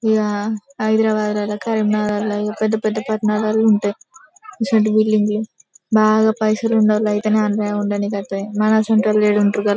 ఈడ హైదరాబాదులో కరీంనగర్లో పెద్ద పెద్ద పట్నాలలో ఉంటాయి ఇటువంటి బిల్డింగ్ బాగా పైసలు ఉండేవాళ్ళు అయితేనే అల్లా ఉందనీకి అయితది మన అసోంటోలు ఎడ ఉంటారు --